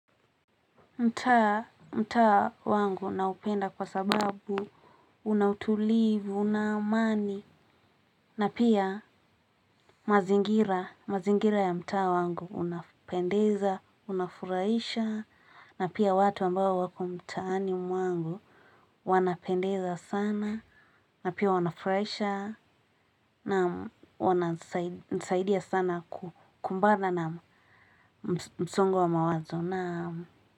Mta, mtaa wangu naupenda kwa sababu una utulivu, na amani. Na pia mazingira, mazingira ya mtaa wangu unapendeza, unafuraisha. Na pia watu ambao wako mtaani mwangu, wanapendeza sana. Na pia wanafuraisha na wanasaidia sana kukumbana na msongo wa mawazo.